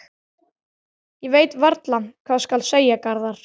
Ég veit varla hvað skal segja, Garðar.